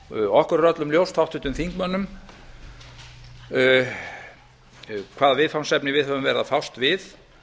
okkur er öllum ljóst háttvirtum þingmönnum hvaða viðfangsefni við höfum verið að fást við